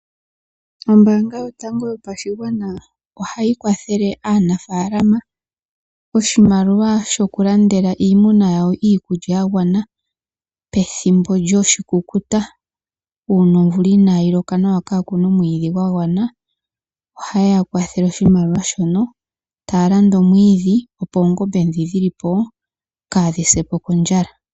Ombaanga yotango yopashigwana ohayi kwathele aanafaalama oshimaliwa shokulandela iimuna yawo iikulya yagwana pethimbo lyoshikukuta, uuna omvula inaayi loka nawa kaakuna omwiidhi gwagwana. Ohayeya kwathele oshimaliwa opo yakalande omwiidhi opo oongombe ndhi dhilipo kaadhi sepo kondjala.